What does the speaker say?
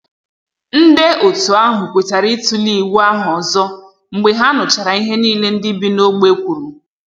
Nde otu ahụ kwetara ịtule iwu ahụ ọzọ mgbe ha nụchara ihe niile ndị bi na ogbe kwuru